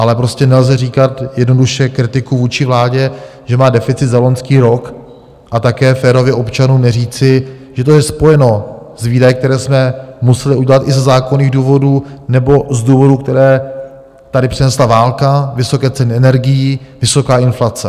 Ale prostě nelze říkat jednoduše kritiku vůči vládě, že má deficit za loňský rok, a také férově občanům neříci, že to je spojeno s výdaji, které jsme museli udělat i ze zákonných důvodů nebo z důvodů, které tady přinesla válka, vysoké ceny energií, vysoká inflace.